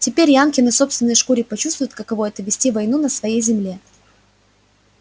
теперь янки на собственной шкуре почувствуют каково это вести войну на своей земле